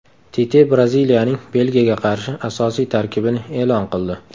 Tite Braziliyaning Belgiyaga qarshi asosiy tarkibini e’lon qildi.